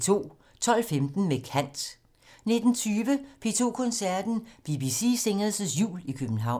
12:15: Med kant 19:20: P2 Koncerten - BBC Singers' Jul i København